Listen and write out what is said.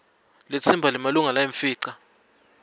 litsimba lemalunga layimfica